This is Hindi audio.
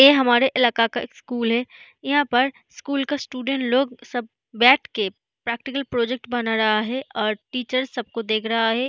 ये हमारे इलाका का स्कूल है यहां पर स्कूल का स्टूडेंट सब लोग सब बैठ के प्रैक्टिकल प्रोजेक्ट बना रहा है और टीचर सबको देख रहा है।